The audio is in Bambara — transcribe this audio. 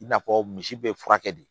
I n'a fɔ misi be furakɛ de